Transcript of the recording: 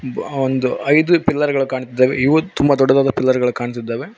ಒಂದು ಐದು ಪಿಲ್ಲರ್ ಗಳು ಕಾಣುತ್ತಿದ್ದಾವೆ ಇವು ತುಂಬಾ ದೊಡ್ಡದಾದ ಪೀಲ್ಲರ್ ಗಳು ಕಾಣುತ್ತಿದಾವೆ.